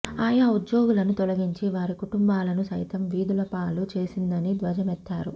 ఆయా ఉద్యోగులను తొలగించి వారి కుటుంబాలను సైతం వీధులపాలు చేసిందని ధ్వజమెత్తారు